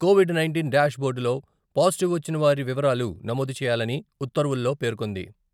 Covid nineteen dash బోర్డులో positive వచ్చిన వారి వివరాలు నమోదు చేయాలని ఉత్తర్వుల్లో పేర్కొంది.